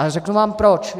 A řeknu vám proč.